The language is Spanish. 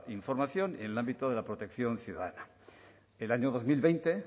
información y en el ámbito de la protección ciudadana el año dos mil veinte